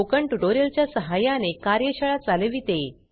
spoken tutorial च्या सहाय्याने कार्यशाळा चालविते